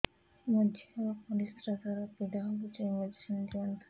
ମୋ ଝିଅ ର ପରିସ୍ରା ଦ୍ଵାର ପୀଡା ହଉଚି ମେଡିସିନ ଦିଅନ୍ତୁ